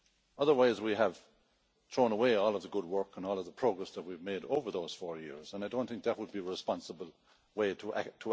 Otherwise, we would have thrown away all the good work and all of the progress we've made over those four years, and I don't think that would be a responsible way to act.